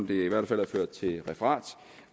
det i hvert fald er ført til referat